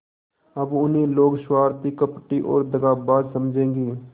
अब उन्हें लोग स्वार्थी कपटी और दगाबाज समझेंगे